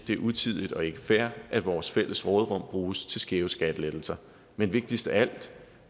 det er utidigt og ikke fair at vores fælles råderum bruges til skæve skattelettelser men vigtigst af alt